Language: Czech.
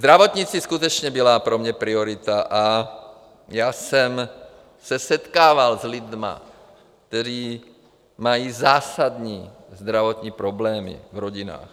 Zdravotnictví skutečně byla pro mě priorita a já jsem se setkával s lidmi, kteří mají zásadní zdravotní problémy v rodinách.